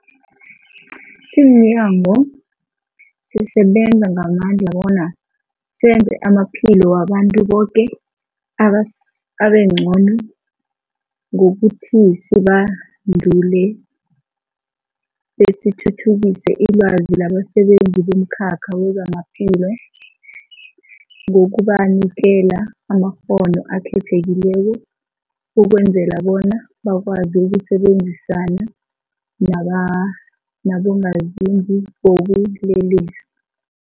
Simnyango, sisebenza ngamandla bona senze amaphilo wabantu boke abe abengcono ngokuthi sibandule besithuthukise ilwazi labasebenzi bomkhakha wezamaphilo ngokubanikela amakghono akhethekileko ukwenzela bona bakwazi ukusebenzisana naba nabongazimbi bobulelesi.